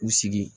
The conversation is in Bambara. U sigi